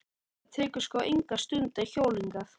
Það tekur sko enga stund að hjóla hingað.